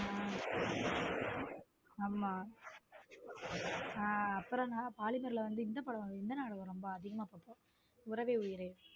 ஹம் ஆம ஹம் அப்புறம்தான் பாலிமர் ல வந்து இந்த நாடகம் அதிகமா பாத்து இருக்கேன் உறவே உயிரே.